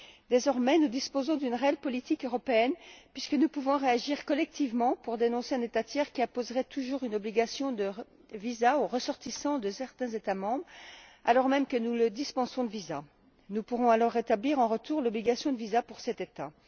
Désormais, nous disposons d'une réelle politique européenne, puisque nous pouvons réagir collectivement pour dénoncer un État tiers qui imposerait toujours une obligation de visa aux ressortissants de certains États membres, alors même que nous le dispensons de visas. Nous pourrons alors rétablir en retour l'obligation de visa pour cet État.